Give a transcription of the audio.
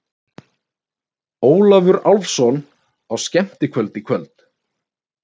Ólafur Álfsson á skemmtikvöldi í